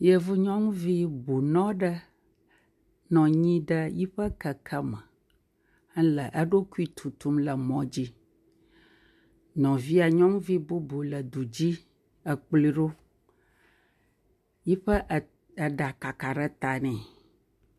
Yevu nyɔnuvi bunɔ aɖe nɔ anyi ɖe eƒe keke me le eɖokui tutum le mɔdzi, nɔvia nyɔnuvi bubu le du dzi kplɔe, eƒe eɖa kaka ɖe ta nɛ.